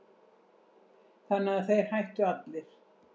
Þannig að þeir hættu allir.